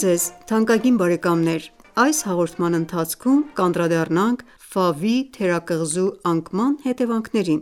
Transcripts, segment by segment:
ձեզ թանկագին բարեկամներ: Այս հաղորդման ընթացքում կանդրադառնանք Ֆավի թերակղզու անկման հետևանքներին: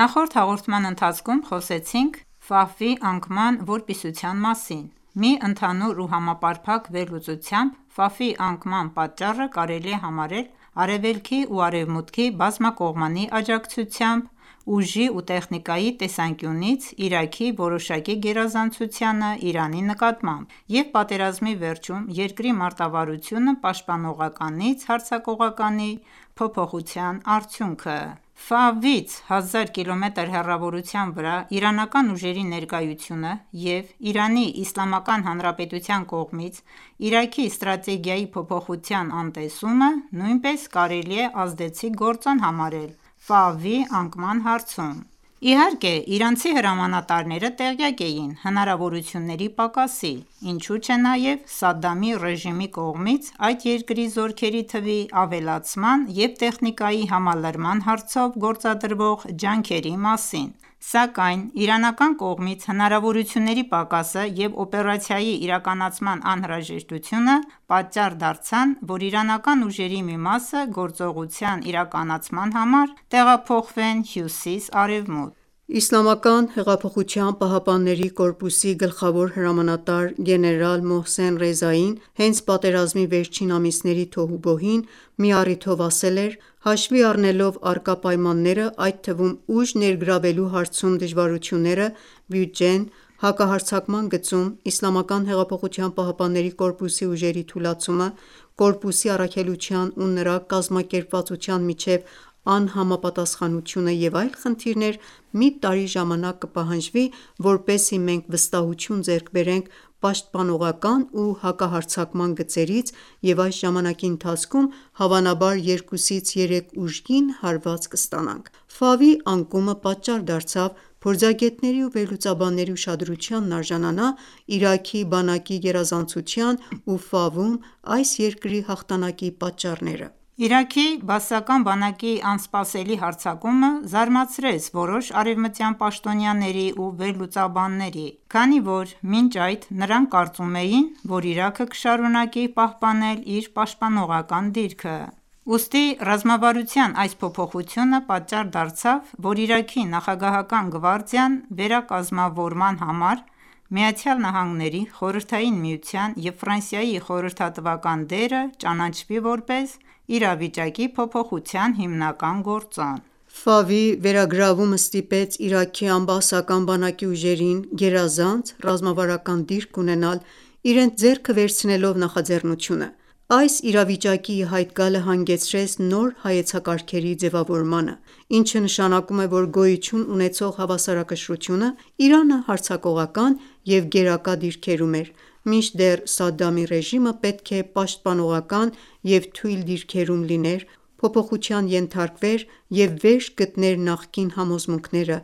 Նախորդ հաղորդման ընթացքում խոսեցինք Ֆավի անկման որպիսության մասին: Մի ընդհանուր ու համապարփակ վերլուծությամբ Ֆավի անկման պատճառը կարելի է համարել Արևելքի ու Արևմուտքի բազմակողմանի աջակցությամբ ուժի ու տեխնիկայի տեսանկյունից Իրաքի որոշակի գերազանցությանը Իրանի նկատմամբ և պատերազմի վերջում երկրի մարտավարությունը պաշտպանողականից հարձակողականի, փոփոխության արդյունքը: Ֆավից 1000 կմ. հեռավորության վրա իրանական ուժերի ներկայությունը և ԻԻՀ-ի կողմից Իրաքի ստրատեգիայի փոփոխության անտեսումը նույնպես կարելի է ազդեցիկ գործոն համարել Ֆավի անկամ հարցում: Իհարկե իրանցի հրամանատարները տեղյակ էին հնարավորությունների պակասի, ինչու չէ նաև Սադդամի ռեժիմի կողմից այդ երկրի զորքերի թվի ավելացման և տեխնիկայի համալրման հարցով գործադրվող ջանքերի մասին, սակայն իրանական կողմից հնարավորությունների պակասը և օպերացիայի իրականացման անհրաժեշտությունը պատճառ դարձան, որ իրանական ուժերի մի մասը գործողության իրականացման համար տեղափոխվեն հյուսիս-արևմուտք: ԻՀՊԿ-ի գլխավոր հրամանատար Գեներալ Մոհսեն Ռեզային հենց պատերազմի վերջին ամիսների թոհուբոհին մի առիթով ասել էր.«Հաշվի առնելով առկա պայմանները, այդ թվում ուժ ներգրավելու հարցում դժվարությունները, բյուջեն, հակահարձակման գծերում ԻՀՊԿ-ի ուժերի թուլացումը, ԻՀՊԿ-ի առաքելության ու նրա կազմակերպվածության միջև անհամապատասպանությունը և այլ խնդիրներ, մի տարի ժամանակ կպահանջվի որպեսզի մենք վստահություն ձեռք բերենք պաշտպանողական ու հակահարձակման գծերից և այս ժամանակի ընթացքում, հավանաբար երկուսից երեք ուժգին հարված կստանանք»: Ֆավի անկումը պատճառ դարձավ, փորձագետների ու վերլուծաբանների ուշադրությանն արժանանա Իրաքի բանակի գերազանցության ու Ֆավում այս երկրի հաղթանակի պատճառները: «Իրաքի բաասական բանակի անսպասելի հարձակումը» զարմացրեց որոշ արեւմտյան պաշտոնյաների ու վերլուծաբանների։ Քանի որ մինչ այդ նրանք կարծում էին, որ Իրաքը կշարունակի պահպանել իր պաշտպանողական դիրքը, ուստի ռազմավարության այս փոփոխությունը պատճառ դարձավ, որ Իրաքի նախագահական գվարդիան վերակազմավորման համար ԱՄՆ-ի, Խորհրդային Միության և Ֆրանսիայի խորհրդատվական դերը ճանաչվի որպես իրավիճակի փոփոխության հիմնական գործոն: Ֆավի վերագրավումը ստիպեց իրաքյան բաասական բանակի ուժերին գերազանց «ռազմավարական դիրք» ունենալ՝ իրենց ձեռքը վերցնելով նախաձեռնությունը: Այս իրավիճակի ի հայտ գալը հանգեցրեց նոր հայեցակարգերի ձևավորմանը, ինչը նշանակում է, որ գոյություն ունեցող հավասարակշռությունը՝ Իրանը հարձակողական և գերակա դիրքերում է, մինչդեռ Սադամի ռեժիմը պետք է պաշտպանողական և թույլ դիրքերում լիներ, փոփոխության ենթարկվեր, և վերջ գտներ նախկին համոզմունքները,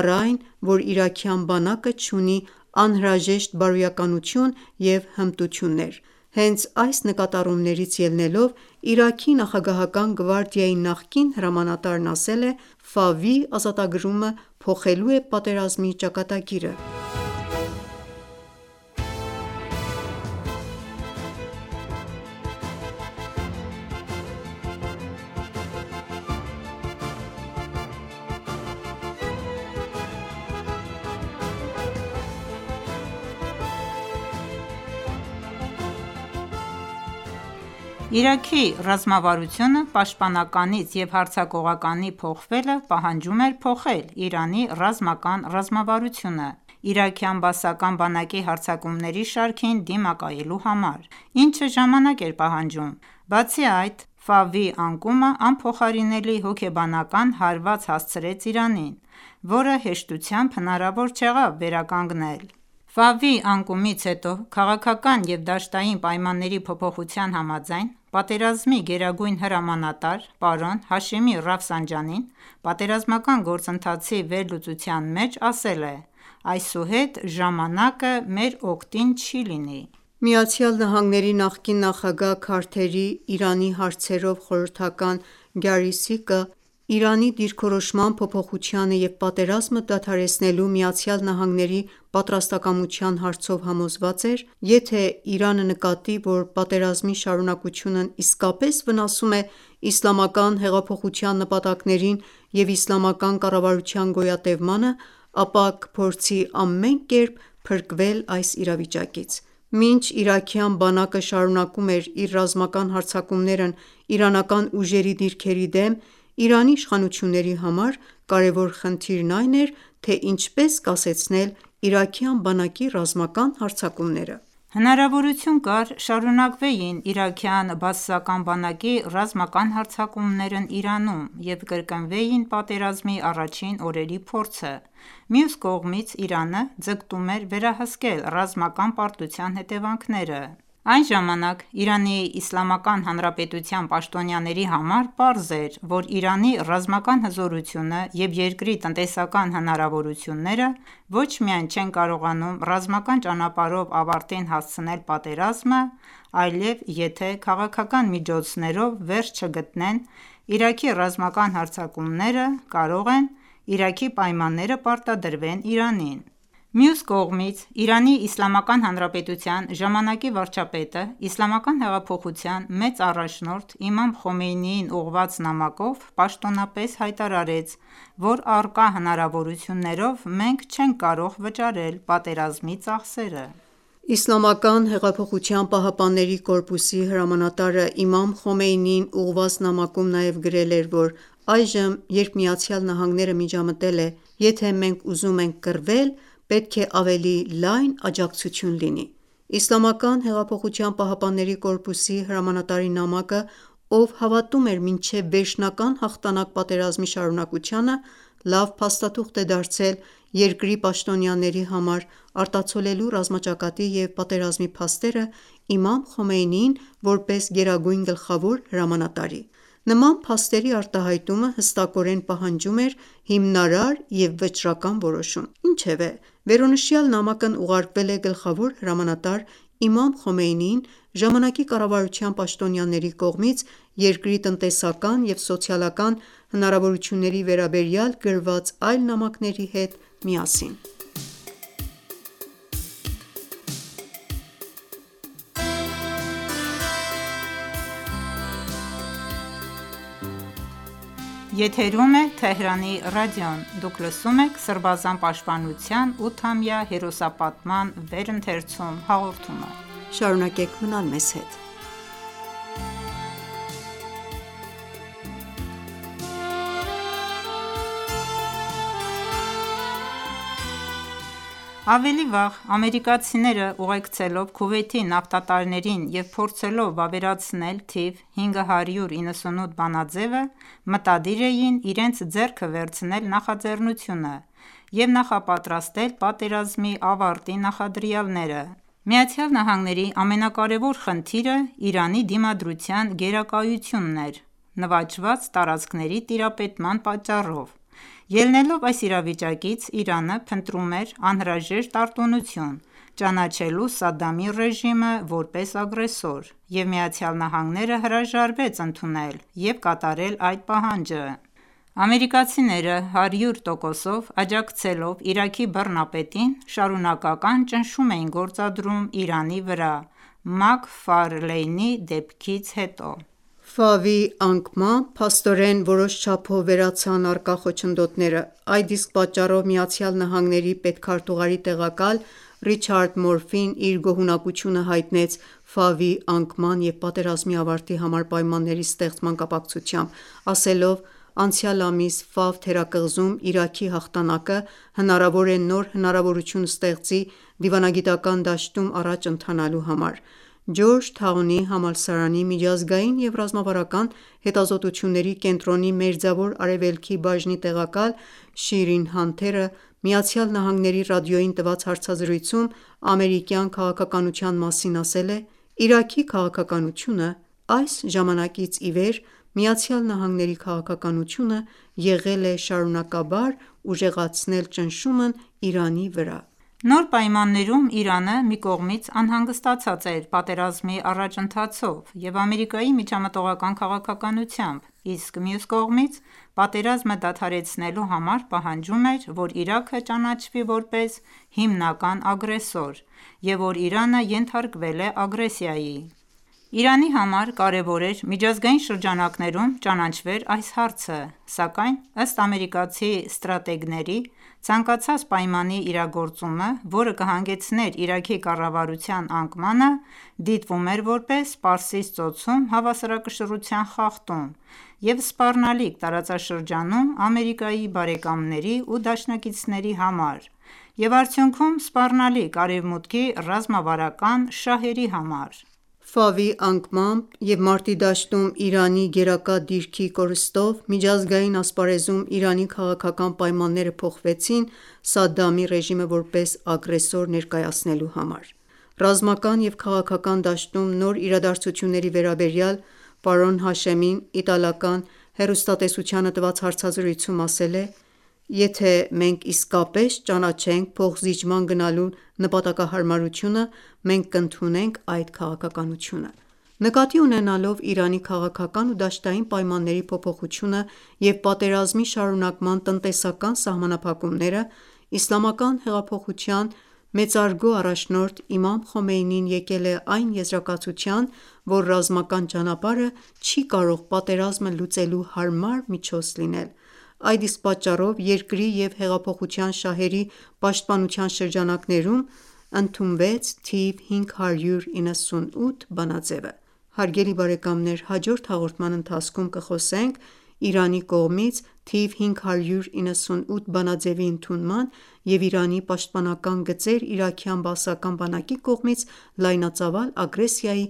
առ այն, որ իրաքյան բանակը չունի անհրաժեշտ բարոյականություն և հմտություններ: Հենց այս նկատառումներից ելնելով Իրաքի նախագահական գվարդիայի նախկին հրամանատարն ասել է.«Ֆավի ազատագրումը փոխելու է պատերազմի ճակատագիրը»: Իրաքի ռազմավարությունը պաշտպանականից և հարձակողականի փոխվելը պահանջում էր փոխել Իրանի ռազմական ռազմավարությունը՝ իրաքյան բաասական բանակի հարձակումների շարքին դիմակայելու համար, ինչը ժամանակ էր պահանջում: Բացի այդ, Ֆավի անկումը անփոխարինելի հոգեբանական հարված հասցրեց Իրանին, որը հեշտությամբ հնարավոր չեղավ վերականգնել։ Ֆավի անկումից հետո քաղաքական և դաշտային պայմանների փոփոխության համաձայն, պատերազմի գերագույն հրամանատար պարոն Հաշեմի Ռաֆսանջանին պատերազմական գործընթացի վերլուծության մեջ ասել է. «Այսուհետ ժամանակը մեր օգտին չի լինի»։ ԱՄՆ-ի նախկին նախագահ Քարթերի՝ Իրանի հարցերով խորհրդական Գարի Սիկը Իրանի դիրքորոշման փոփոխությանը և պատերազմը դադարեցնելու ԱՄՆ-ի պատրաստակամության հարցով համոզված էր.« Եթե ​​Իրանը նկատի, որ պատերազմի շարունակությունն իսկապես վնասում է իսլամական հեղափոխության նպատակներին և իսլամական կառավարության գոյատևմանը, ապա կփորձի ամեն կերպ փրկվել այս իրավիճակից»։ Մինչ իրաքյան բանակը շարունակում էր իր ռազմական հարձակումները իրանական ուժերի դիրքերի դեմ, Իրանի իշխանությունների համար կարևոր խնդիրն այն էր, թե ինչպես կասեցնել իրաքյան բանակի ռազմական հարձակումները։ Հնարավորություն կար շարունակվեին իրաքյան բաասական բանակի ռազմական հարձակումներն Իրանում և կրկնվեին պատերազմի առաջին օրերի փորձը։ Մյուս կողմից, Իրանը ձգտում էր վերահսկել ռազմական պարտության հետեւանքները։ Այն ժամանակ ԻԻՀ-ի պաշտոնյաների համար պարզ էր, որ Իրանի ռազմական հզորությունը և երկրի տնտեսական հնարավորությունները ոչ միայն չեն կարողանում ռազմական ճանապարհով ավարտին հասցնել պատերազմը, այլև եթե, քաղաքական միջոցներով, վերջ չգտնեն Իրաքի ռազմական հարձակումները, կարող են Իրաքի պայմանները պարտադրվեն Իրանին: Մյուս կողմից, ԻԻՀ-ի ժամանկի վարչապետը Իսլամական հեղափոխության մեծ առաջնորդ Իմամ Խոմեյնիին ուղղված նամակով պաշտոնապես հայտարարեց, որ առկա հնարավորություններով մենք չենք կարող վճարել պատերազմի ծախսերը։ Իսլամական հեղափոխության պահապանների կորպուսի հրամանատարը Իմամ Խոմեյնիին ուղղված նամակում նաև գրել է, որ այժմ, երբ ԱՄՆ-ն ​​միջամտել է, եթե մենք ուզում ենք կռվել, պետք է ավելի լայն աջակցություն լինի։ ԻՀՊԿ-ի հրամանատարի նամակը, ով հավատում էր մինչև վերջնական հաղթանակ պատերազմի շարունակությանը, լավ փաստաթուղթ է դարձել երկրի պաշտոնյաների համար՝ արտացոլելու ռազմաճակատի և պատերազմի փաստերը Իմամ Խոմեյնիին՝ որպես գերագույն գլխավոր հրամանատարի։ Նման փաստերի արտահայտումը հստակորեն պահանջում էր հիմնարար և վճռական որոշում։ Ինչևէ, վերոնշյալ նամակն ուղարկվել է գլխավոր հրամանատար Իմամ Խոմեյնիին՝ ժամանակի կառավարության պաշտոնյաների կողմից երկրի տնտեսական և սոցիալական հնարավորությունների վերաբերյալ գրված այլ նամակների հետ միասին։ Ավելի վաղ ամերիկացիները, ուղեկցելով Քուվեյթի նավթատարներին և փորձելով վավերացնել թիվ 598 բանաձեւը, մտադիր էին իրենց ձեռքը վերցնել նախաձեռնությունը և նախապատրաստել պատերազմի ավարտի նախադրյալները։ ԱՄՆ-ի ամենակարևոր խնդիրը Իրանի դիմադրության գերակայությունն էր՝ նվաճված տարածքների տիրապետման պատճառով։ Ելնելով այս իրավիճակից՝ Իրանը փնտրում էր անհրաժեշտ արտոնություն՝ ճանաչելու Սադամի ռեժիմը որպես ագրեսոր, և ԱՄՆ-ն ​​հրաժարվեց ընդունել և կատարել այդ պահանջը։ Ամերիկացիները, 100%-ով աջակցելով Իրաքի բռնապետին, շարունակական ճնշում էին գործադրում Իրանի վրա Մաքֆարլեյնի դեպքից հետո։ Ֆավի անկմամբ, փաստորեն, որոշ չափով վերացան առկա խոչընդոտները, այդ իսկ պատճառով ԱՄՆ պետքարտուղարի տեղակալ Ռիչարդ Մորֆին իր գոհունակությունը հայտնեց Ֆավի անկման և պատերազմի ավարտի համար պայմանների ստեղծման կապակցությամբ, ասելով.«Անցյալ ամիս Ֆավ թերակղզում Իրաքի հաղթանակը հնարավոր է նոր հնարավորություն ստեղծի դիվանագիտական դաշտում առաջ ընթանալու համար»։ Ջորջ Թաունի համալսարանի Միջազգային և ռազմավարական հետազոտությունների կենտրոնի Մերձավոր Արևելքի բաժնի տեղակալ Շիրին Հանթերը ԱՄՆ-ի ռադիոյին տված հարցազրույցում ամերիկյան քաղաքականության մասին ասել է.«Իրաքի քաղաքականությունը... Այս ժամանակից ի վեր ԱՄՆ-ի քաղաքականությունը եղել է շարունակաբար ուժեղացնել ճնշումն Իրանի վրա»։ Նոր պայմաններում Իրանը մի կողմից անհանգստացած էր պատերազմի առաջընթացով և Ամերիկայի միջամտողական քաղաքականությամբ, իսկ մյուս կողմից՝ պատերազմը դադարեցնելու համար պահանջում էր, որ Իրաքը ճանաչվի որպես հիմնական ագրեսոր և որ Իրանը ենթարկվել է ագրեսիայի: Իրանի համար կարեւոր էր միջազգային շրջանակներում ճանավեր այս հարցը։ Սակայն, ըստ ամերիկացի ստրատեգների, ցանկացած պայմանի իրագործումը, որը կհանգեցներ Իրաքի կառավարության անկմանը, դիտվում էր որպես Պարսից ծոցում հավասարակշռության խախտում և սպառնալիք տարածաշրջանում Ամերիկայի բարեկամների ու դաշնակիցների համար, և արդյունքում՝ սպառնալիք Արեւմուտքի ռազմավարական շահերի համար։ Ֆավի անկմամբ և մարտի դաշտում Իրանի գերակա դիրքի կորստով, միջազգային ասպարեզում Իրանի քաղաքական պայմանները փոխվեցին՝ Սադամի ռեժիմը որպես ագրեսոր ներկայացնելու համար: Ռազմական և քաղաքական դաշտում նոր իրադարձությունների վերաբերյալ պարոն Հաշեմին իտալական հեռուստատեսությանը տված հարցազրույցում ասել է.«Եթե մենք իսկապես ճանաչենք փոխզիջման գնալու նպատակահարմարությունը, մենք կընդունենք այդ քաղաքականությունը»: Նկատի ունենալով Իրանի քաղաքական ու դաշտային պայմանների փոփոխությունը և պատերազմի շարունակման տնտեսական սահմանափակումները՝ Իսլամական հեղափոխության մեծահարգ առաջնորդ Իմամ Խոմեյնին եկել է այն եզրակացության, որ ռազմական ճանապարհը չի կարող պատերազմը լուծելու հարմար միջոց լինել։ Այդ իսկ պատճառով երկրի և հեղափոխության շահերի պաշտպանության շրջանակներում ընդունց թիվ 598 բանաձևը: Հաջորդ հաղորդման ընթացքում կխոսենք ԻԻՀ-ի կողմից թիվ 598 բանաձեւի ընդունման եւ ԻԻՀ-ի պաշտպանական գծեր իրաքյան բաասական բանակի կողմից լայնածավալ ագրեսիայի